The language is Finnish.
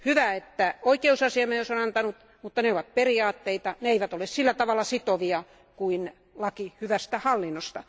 Hyvä, että oikeusasiamies on antanut, mutta ne ovat periaatteita, ne eivät ole sillä tavalla sitovia kuin laki hyvästä hallinnosta.